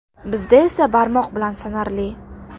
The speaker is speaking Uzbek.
Bizda esa barmoq bilan sanarli.